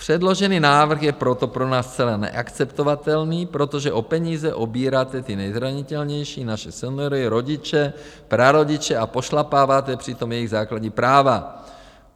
Předložený návrh je proto pro nás zcela neakceptovatelný, protože o peníze obíráte ty nejzranitelnější, naše seniory, rodiče, prarodiče, a pošlapáváte přitom jejich základní práva.